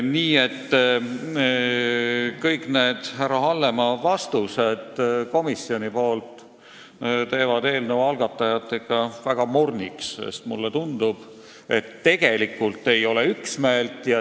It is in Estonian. Nii et kõik need härra Hallemaa komisjoni nimel antud vastused teevad eelnõu algatajat ikka väga morniks, sest mulle tundub, et tegelikult ei ole üksmeelt.